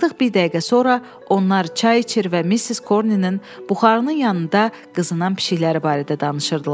Artıq bir dəqiqə sonra onlar çay içir və Missis Corninin buxarının yanında qızınan pişikləri barədə danışırdılar.